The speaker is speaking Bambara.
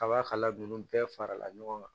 A b'a kala ninnu bɛɛ farala ɲɔgɔn kan